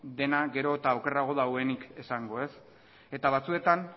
dena gero eta okerrago daudenik esango ez eta batzuetan